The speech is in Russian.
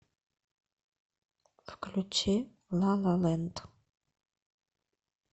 включи ла ла лэнд